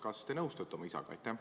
Kas te nõustute oma isaga?